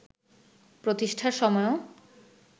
প্রতিষ্ঠার সময়ও